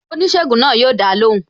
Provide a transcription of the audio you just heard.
Oníṣègùn náà yo dá lóhùn